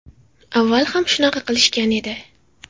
Avval ham shunaqa qilishgan edi.